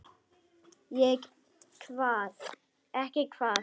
Ekki hvað?